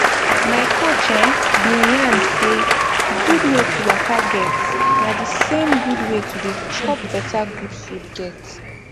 my coach eh bin yarn say d gud wey to waka get na d same gud wey to dey chop better gud food get